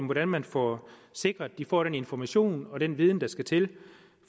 hvordan man får sikret at de får den information og den viden der skal til